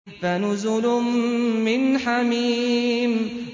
فَنُزُلٌ مِّنْ حَمِيمٍ